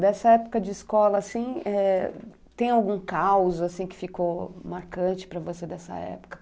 Dessa época de escola, assim, eh, tem algum caos, assim, que ficou marcante para você dessa época?